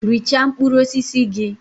Richaa mkpụrụ osisi gị!